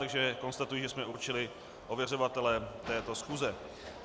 Takže konstatuji, že jsme určili ověřovatele této schůze.